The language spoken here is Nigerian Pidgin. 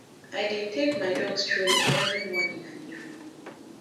i dey take my dog strolling every morning and evening